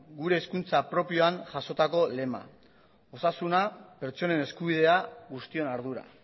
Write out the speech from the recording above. gure hezkuntza propioan jasotako lema osasuna pertsonen eskubidea guztion ardura